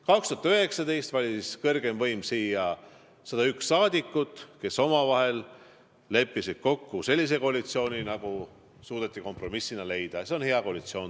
2019 valis kõrgeim võim siia 101 rahvasaadikut, kes omavahel leppisid kokku sellise koalitsiooni, nagu suudeti kompromissina luua, ja see on hea koalitsioon.